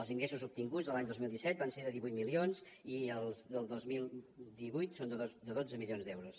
els ingressos obtinguts de l’any dos mil disset van ser de divuit milions i els del dos mil divuit són de dotze milions d’euros